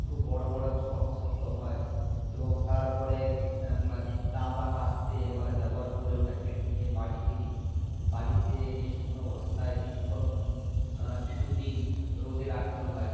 বড়ো বড়ো শক্ত শক্ত হয় এবং তারপরে হম দা বা কাস্তে এবারে ব্যবহার করে ওটা কেটে নিয়ে বাড়ি ফিরি বাড়িতে এনে শুকনো বস্তায় কিছুক্ষণ আহ কিছুদিন রোদে রাখতে হয়